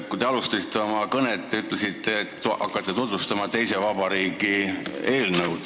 Kui te oma kõnet alustasite, siis te ütlesite, et te hakkate tutvustama teise vabariigi eelnõu.